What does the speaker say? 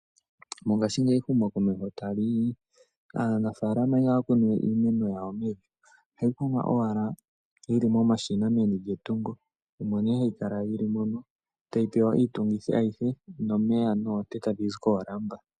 Mongaashingeyi ehumokomeho sho taliyi, aanafaalama ihaya kunuwe iimeno yawo mevi, ohaya kunu owala momashina geli meni lyetungo. Omo nee hayi kala yili mono, tayi pewa omeya noonte tadhi zi koolamba.